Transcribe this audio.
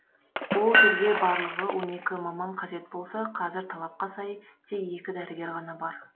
ол жерге барлығы он екі маман қажет болса қазір талапқа сай тек екі дәрігер ғана бар